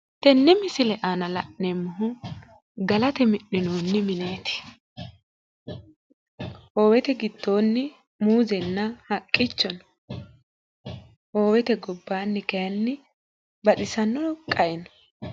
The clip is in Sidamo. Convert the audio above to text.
tenne misile aana la'neemmohu galate mi'ninooni mineeti hoowete giddooni muuzenna haqqicho no hoowete gobbaanni kayiinni baxissano qae no.